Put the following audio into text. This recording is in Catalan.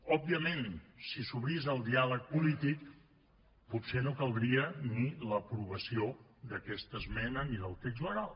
òbviament si s’obrís el diàleg polític potser no caldria ni l’aprovació d’aquesta esmena ni del text legal